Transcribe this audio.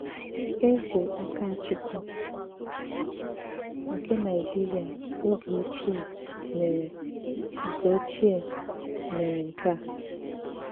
Èzè Àkàchùkwù nke Nàìjìrìà ògè òchìè mèré nke òchìè mèré nke à.